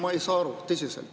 Ma ei saa aru, tõsiselt.